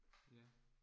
Ja